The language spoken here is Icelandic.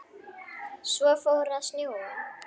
Svo fór að snjóa.